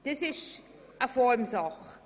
Das ist eine Formsache.